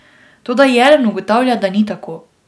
Toda Jelen ugotavlja, da ni tako.